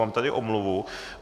Mám tady omluvu.